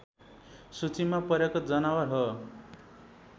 सूचीमा परेको जनावर हो